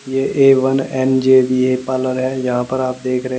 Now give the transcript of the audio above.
ये A one NJBA parlour है यहां पर आप देख रहे--